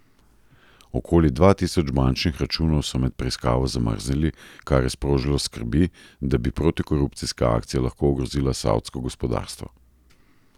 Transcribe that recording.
Okoli dva tisoč bančnih računov so med preiskavo zamrznili, kar je sprožilo skrbi, da bi protikorupcijska akcija lahko ogrozila savdsko gospodarstvo.